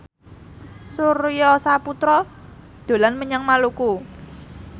Surya Saputra dolan menyang Maluku